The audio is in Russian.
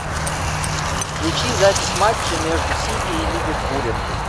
включи запись матча между сити и ливерпулем